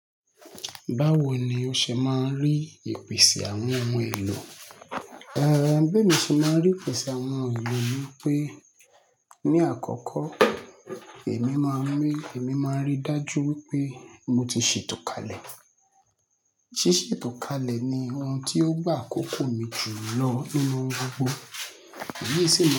Báwo ni o ṣe máa n rí ìpèsè àwọn ohun èlò? Eh, bí mo ṣe máa rí ìpèsè àwọn ohun èlò ni pé ní àkọ́kọ́ èmi máa rí, èmi máa rí dájú wípé mo ti sè tò kalẹ̀. Sí sè tò kalẹ̀ ni ohun tí ó gbà àkókò mi jù lọ nínú oun gbogbo. Èyí sì máa.